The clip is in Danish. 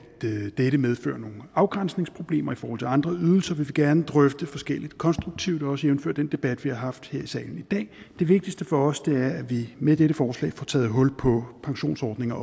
dette medfører nogle afgrænsningsproblemer i forhold til andre ydelser vil gerne drøfte forskelligt konstruktivt også jævnfør den debat vi har haft her i salen i dag det vigtigste for os er at vi med dette forslag får taget hul på pensionsordninger